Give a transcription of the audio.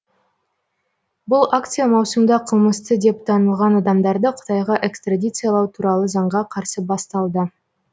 бұл акция маусымда қылмысты деп танылған адамдарды қытайға экстрадициялау туралы заңға қарсы басталды